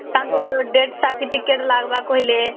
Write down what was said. ତାଙ୍କର death certificate ଲାଗିବାର କହିଲେ